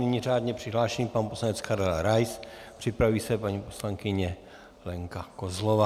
Nyní řádně přihlášený pan poslanec Karel Rais, připraví se paní poslankyně Lenka Kozlová.